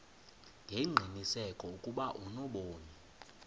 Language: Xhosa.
ngengqiniseko ukuba unobomi